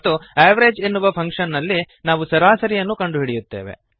ಮತ್ತು ಅವೆರೇಜ್ ಎನ್ನುವ ಫಂಕ್ಶನ್ ನಲ್ಲಿ ನಾವು ಸರಾಸರಿಯನ್ನು ಕಂಡುಹಿಡಿಯುತ್ತೇವೆ